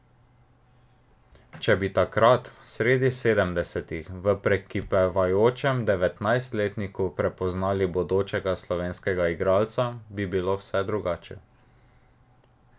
Če bi takrat, sredi sedemdesetih, v prekipevajočem devetnajstletniku prepoznali bodočega slovenskega igralca, bi bilo vse drugače.